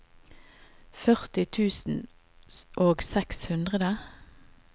førti tusen og seks hundre